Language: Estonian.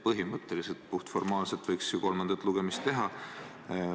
Nii et puhtformaalselt võiks ju kolmanda lugemise teha.